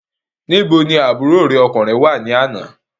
Níbo ni àbúrò rẹ wà ní àná?